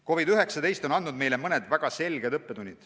COVID-19 on andnud meile mõne väga selge õppetunni.